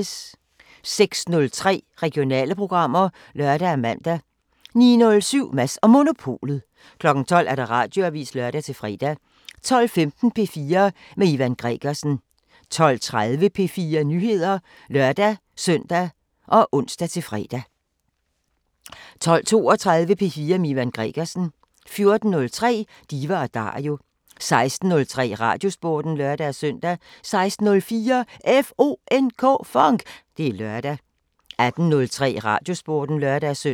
06:03: Regionale programmer (lør og man) 09:07: Mads & Monopolet 12:00: Radioavisen (lør-fre) 12:15: P4 med Ivan Gregersen 12:30: P4 Nyheder (lør-søn og ons-fre) 12:32: P4 med Ivan Gregersen 14:03: Diva & Dario 16:03: Radiosporten (lør-søn) 16:04: FONK! Det er lørdag 18:03: Radiosporten (lør-søn)